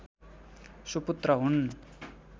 सुपुत्र हुन्